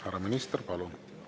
Härra minister, palun!